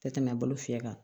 Tɛ tɛmɛ bolo fiyɛ kan